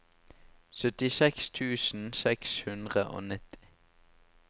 syttiseks tusen seks hundre og nitti